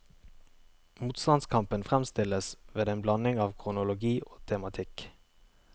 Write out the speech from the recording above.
Motstandskampen fremstilles ved en blanding av kronologi og tematikk.